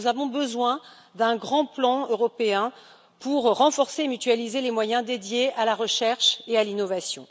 Nous avons donc besoin d'un grand plan européen pour renforcer et mutualiser les moyens dédiés à la recherche et à l'innovation.